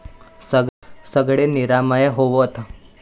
सगळे निरामय होवोत.